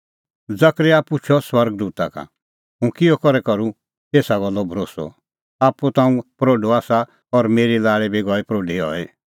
जकरयाह पुछ़अ स्वर्ग दूता का हुंह किहअ करै करूं एसा गल्लो भरोस्सअ आप्पू ता हुंह प्रोढअ आसा और मेरी लाल़ी बी गई प्रोढी हई